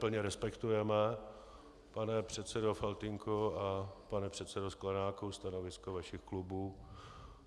Plně respektujeme, pane předsedo Faltýnku a pane předsedo Sklenáku, stanovisko vašich klubů.